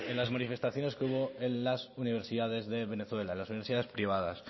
las en las manifestaciones que hubo en las universidades de venezuela las universidades privadas